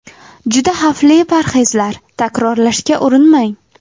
Juda xavfli parhezlar: takrorlashga urinmang.